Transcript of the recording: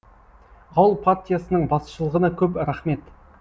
ауыл партиясының басшылығына көп рахмет